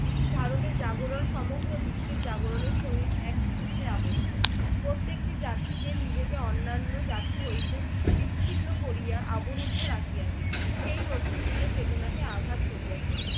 ভারতের জাগরণ সমগ্র বিশ্বের জাগরণের সহিত একই সূত্রে আবদ্ধ। প্রত্যেকটি জাতিদের নিজেকে অন্যান্য জাতি হইতে বিচ্ছিন্ন করিয়া অবরুদ্ধ রাখিয়াছে। সেই নতুন যুগের চেতনাকে আঘাত করিয়াছে।